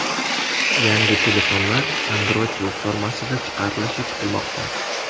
Yangi telefonlar Android platformasida chiqarilishi kutilmoqda.